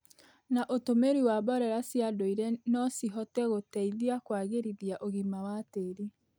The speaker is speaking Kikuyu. na ũtũmĩri wa mborera cia ndũire no cihote gũteithia kũagĩrithia ũgima wa tĩri.